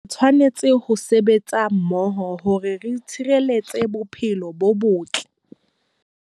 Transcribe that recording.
Re tshwanela ho sebetsa mmoho hore re tshireletse bophelo bo botle